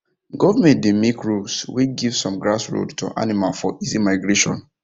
government doh make rules when give some grass road to animal for easy migration